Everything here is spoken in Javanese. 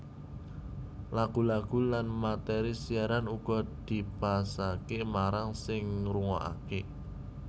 Lagu lagu lan materi siaran uga dipasake marang sing ngrungokake